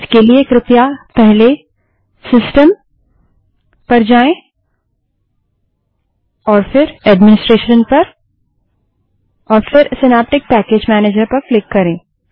उसके लिए कृपया पहले सिस्टम फिर एडमिनिस्ट्रेशन पर जाएँ और फिर सिनैप्टिक पैकेज मैनेजर पर क्लिक करें